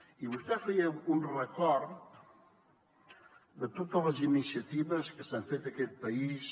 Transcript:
i vostè feia un record de totes les iniciatives que s’han fet a aquest país